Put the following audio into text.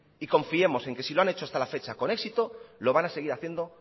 y confiemos en que si lo han hecho hasta la fecha con éxito lo van a seguir haciendo